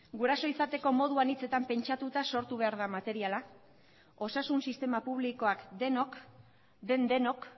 guraso izateko modu anitzetan pentsatuta sortu behar da materiala osasun sistema publikoak denok den denok